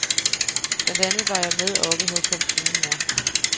Blandt andet var jeg med oppe hos hans syge mor.